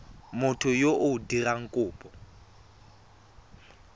motho yo o dirang kopo